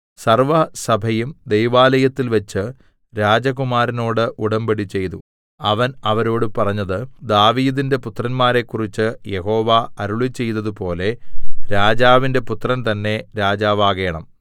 സർവ്വസഭയും ദൈവാലയത്തിൽവച്ച് രാജകുമാരനോട് ഉടമ്പടിചെയ്തു അവൻ അവരോട് പറഞ്ഞത് ദാവീദിന്റെ പുത്രന്മാരെക്കുറിച്ച് യഹോവ അരുളിച്ചെയ്തതുപോലെ രാജാവിന്റെ പുത്രൻ തന്നേ രാജാവാകേണം